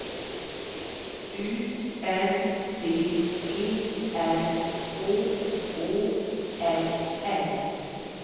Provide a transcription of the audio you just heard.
U N D E R H Å L L